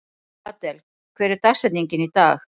Adel, hver er dagsetningin í dag?